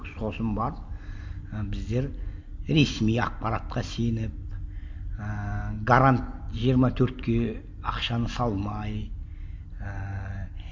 сосын барып і біздер ресми ақпаратқа сеніп ііі гарант жиырма төртке ақшаны салмай ііі